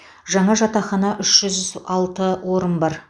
жаңа жатақхана үш жүз алты орын бар